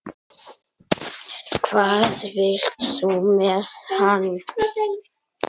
Hvað vilt þú með hann?